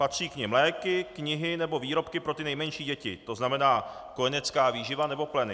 Patří k nim léky, knihy nebo výrobky pro ty nejmenší děti, to znamená kojenecká výživa nebo pleny.